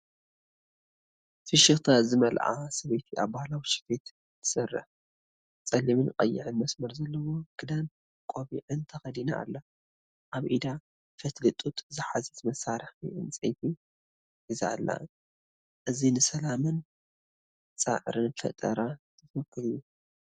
ፍሽኽታ ዝመልኣ ሰበይቲ ኣብ ባህላዊ ስፌት ትሰርሕ። ጸሊምን ቀይሕን መስመር ዘለዎ ክዳንን ቆቢዕን ተኸዲና ኣላ። ኣብ ኢዳ ፈትሊ ጡጥ ዝሓዘት መሳርሒ ዕንጨይቲ ሒዛ ኣላ። እዚ ንሰላምን ጻዕርን ፈጠራን ዝውክል እዩ።